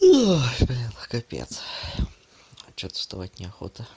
ой блин капец а что-то вставать неохота